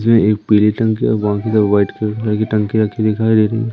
ये एक पीली टंकी बाकि सब वाइट कलर की टंकी रखी दिखाई दे रही --